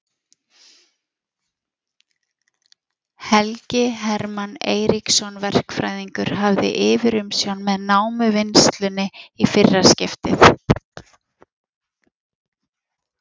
Helgi Hermann Eiríksson verkfræðingur hafði yfirumsjón með námuvinnslunni í fyrra skiptið.